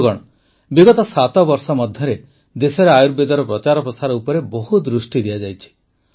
ବନ୍ଧୁଗଣ ବିଗତ ସାତ ବର୍ଷ ମଧ୍ୟରେ ଦେଶରେ ଆୟୁର୍ବେଦର ପ୍ରଚାର ପ୍ରସାର ଉପରେ ବହୁତ ଦୃଷ୍ଟି ଦିଆଯାଇଛି